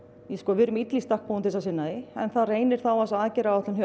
við erum illa í stakk búin til að sinna því en það reynir þá á þessa aðgerðaráætlun